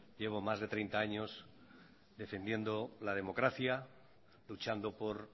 llevo más de treinta años defendiendo la democracia luchando por